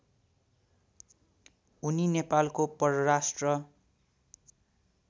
उनी नेपालको परराष्ट्र